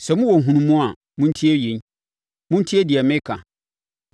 “Sɛ mowɔ nhunumu a, montie yei; montie deɛ meka.